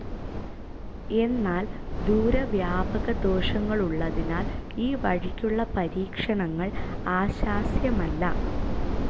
എന്നാൽ ദൂരവ്യാപകദോഷങ്ങളുള്ളതിനാൽ ഈ വഴിക്കുള്ള പരീക്ഷണങ്ങൾ ആശാസ്യമല്ല.